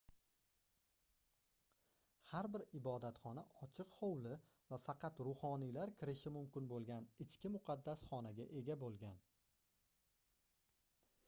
har bir ibodatxona ochiq hovli va faqat ruhoniylar kirishi mumkin boʻlgan ichki muqaddas xonaga ega boʻlgan